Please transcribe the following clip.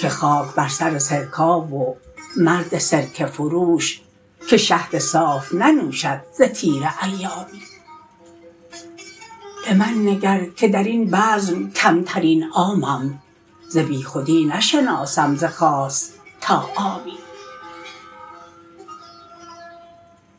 که خاک بر سر سرکا و مرد سرکه فروش که شهد صاف ننوشد ز تیره ایامی به من نگر که در این بزم کمترین عامم ز بیخودی نشناسم ز خاص تا عامی